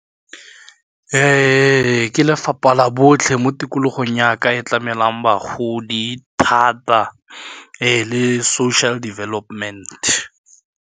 Ke lefapha la botlhe mo tikologong ya ka e tlamelwang bagodi thata le social development.